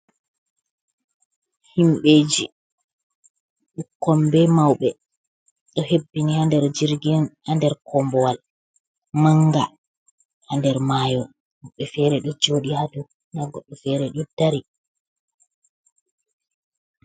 Himɓɓe ji ɓukkon be mauɓe ɗo hebbini ha nder jirgi on ha nder kombowal manga ha nder mayo, woɓɓe fere ɗo joɗi ha dou nda goɗɗo fere ɗo dari.